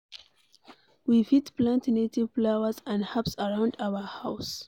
We fit plant native flowers and herbs around our house